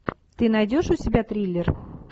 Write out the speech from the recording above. ты найдешь у себя триллер